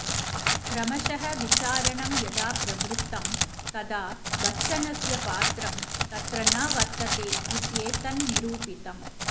क्रमशः विचारणं यदा प्रवृत्तं तदा बच्चनस्य पात्रं तत्र न वर्तते इत्येतन्निरूपितम्